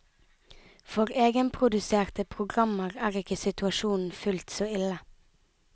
For egenproduserte programmer er ikke situasjonen fullt så ille.